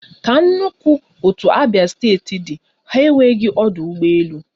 Ka nnukwu otu abia steeti dị ha enweghị ọdụ ụgbọ elu